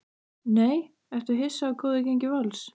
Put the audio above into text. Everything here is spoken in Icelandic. NEI Ertu hissa á góðu gengi Vals?